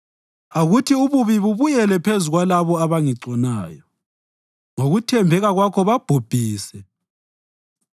Akuthi ububi bubuyele phezu kwalabo abangigconayo; ngokuthembeka kwakho babhubhise.